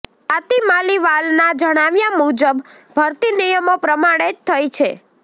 સ્વાતિ માલિવાલના જણાવ્યાં મુજબ ભરતી નિયમો પ્રમાણે જ થઈ છે